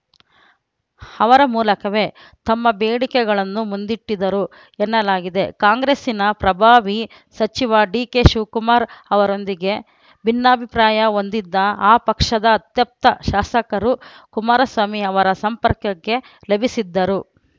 ಅವರ ಮೂಲಕವೇ ತಮ್ಮ ಬೇಡಿಕೆಗಳನ್ನು ಮುಂದಿಟ್ಟಿದ್ದರು ಎನ್ನಲಾಗಿದೆ ಕಾಂಗ್ರೆಸ್ಸಿನ ಪ್ರಭಾವಿ ಸಚಿವ ಡಿಕೆಶಿವಕುಮಾರ್‌ ಅವರೊಂದಿಗೆ ಭಿನ್ನಾಭಿಪ್ರಾಯ ಹೊಂದಿದ್ದ ಆ ಪಕ್ಷದ ಅತ್ಯಪ್ತ ಶಾಸಕರು ಕುಮಾರಸ್ವಾಮಿ ಅವರ ಸಂಪರ್ಕಕ್ಕೆ ಲಭಿಸಿದ್ದರು